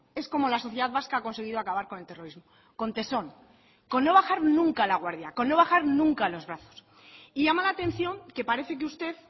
es como la sociedad vasca ha conseguido acabar con el terrorismo con tesón con no bajar nunca la guardia con no bajar nunca los brazos y llama la atención que parece que usted